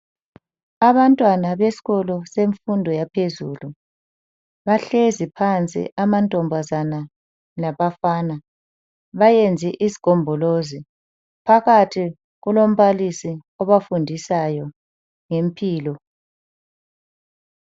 Abantwana besikolo semfundo yaphezulu bahlezi phansi amantombazana labafana. Bayenze isigombolozi phakathi kulombalisi obafundisayo ngempilo.